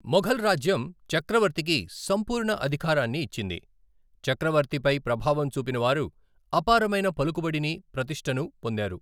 మొఘల్ రాజ్యం చక్రవర్తికి సంపూర్ణ అధికారాన్ని ఇచ్చింది, చక్రవర్తిపై ప్రభావం చూపిన వారు అపారమైన పలుకుబడిని, ప్రతిష్ఠను పొందారు.